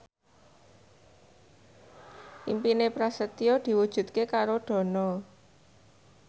impine Prasetyo diwujudke karo Dono